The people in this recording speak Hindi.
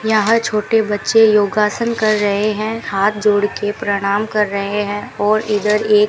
यहां छोटे बच्चे योगासन कर रहे हैं हाथ जोड़ के प्रणाम कर रहे हैं और इधर ये --